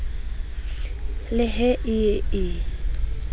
le he e ye e